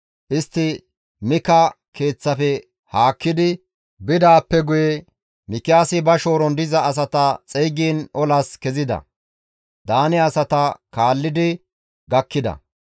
Istti Mikiyaasa keeththafe haakkidi bidaappe guye Mikiyaasi ba shooron diza asata xeygiin olas kezida; Daane asata kaallidi gakkida.